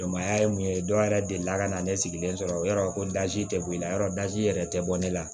Dɔnbaya ye mun ye dɔ yɛrɛ delila ka na ne sigilen sɔrɔ yɔrɔ ko tɛ bɔ i la yɔrɔ dɔ yɛrɛ tɛ bɔ ne la